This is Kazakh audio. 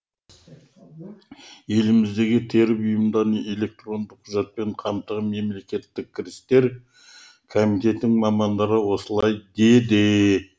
еліміздегі тері бұйымдарын электронды құжатпен қамтыған мемлекеттік кірістер комитетінің мамандары осылай деді